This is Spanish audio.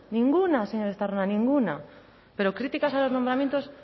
ninguna señor estarrona ninguna pero críticas a los nombramientos